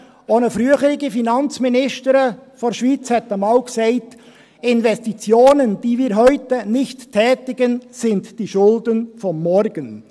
Auch eine frühere Finanzministerin der Schweiz sagte einmal: «Investitionen, die wir heute nicht tätigen, sind die Schulden von morgen.